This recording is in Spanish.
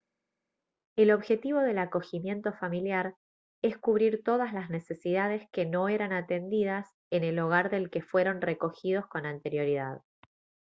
el objetivo del acogimiento familiar es cubrir todas las necesidades que no eran atendidas en el hogar del que fueron recogidos con anterioridad